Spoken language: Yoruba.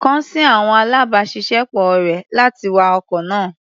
Kàn sí àwọn alábàáṣiṣẹ́ pọ̀ rẹ̀, láti wa ọkọ̀ náà.